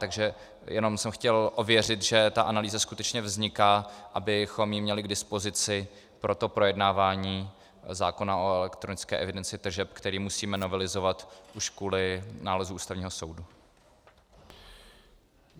Takže jen jsem chtěl ověřit, že ta analýza skutečně vzniká, abychom ji měli k dispozici pro to projednávání zákona o elektronické evidenci tržeb, který musíme novelizovat už kvůli nálezu Ústavního soudu.